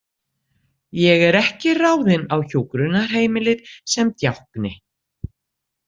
Ég er ekki ráðin á hjúkrunarheimilið sem djákni.